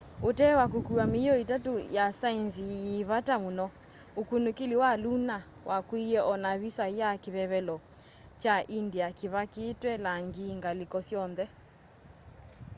utee wa kukua miio itatu ya saenzi yi vata muno ukunikili wa lunar wakuiye o na visa ya kivevelo kya india kivakitwe langi ngaliko syonthe